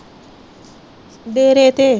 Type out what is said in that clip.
ਡੇਰੇ ਤੇ